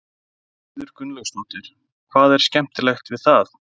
Sigríður Guðlaugsdóttir: Hvað er skemmtilegt við það?